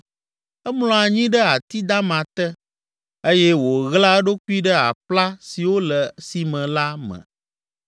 Emlɔa anyi ɖe ati dama te eye wòɣlaa eɖokui ɖe aƒla siwo le sime la me.